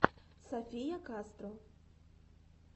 софия кастро